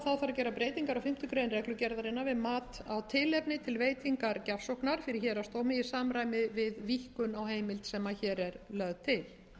gera breytingar á fimmtu grein reglugerðarinnar við mat á tilefni til veitingar gjafsóknar fyrir héraðsdómi í samræmi við víkkun á heimild sem hér er lögð til